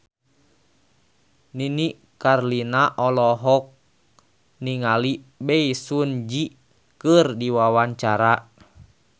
Nini Carlina olohok ningali Bae Su Ji keur diwawancara